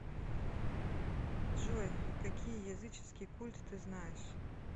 джой какие языческий культ ты знаешь